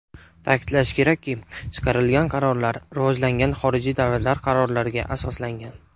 Ta’kidlash kerakki, chiqarilgan qarorlar rivojlangan xorijiy davlatlar qarorlariga asoslangan.